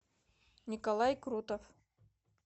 николай крутов